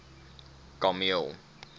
kameel